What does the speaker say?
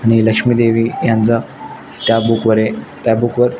आणि लक्ष्मी देवी यांचा त्या बुक वरे त्या बुक वर--